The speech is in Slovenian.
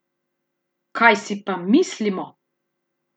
Kaj si pa mislimo!